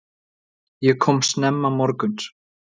Ég kom snemma morguns.